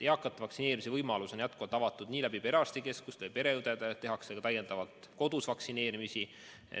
Eakate vaktsineerimise võimalus on jätkuvalt perearstikeskustes, tehakse täiendavalt ka kodus vaktsineerimisi.